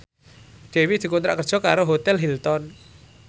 Dewi dikontrak kerja karo Hotel Hilton